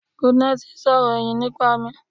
Goodness sọ̀rọ̀ ẹ̀yìn nípa mi.